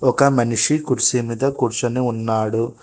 ఒక మనిషి కుర్సీ మీద కూర్చొని ఉన్నాడు.